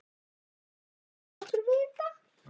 Ertu ósáttur við þetta?